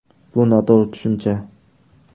Bu noto‘g‘ri tushuncha.